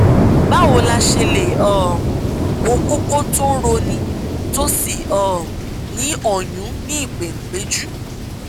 báwo la ṣe lè um wo kókó tó ń roni tó sì um ní ọyún ní ìpéǹpéjú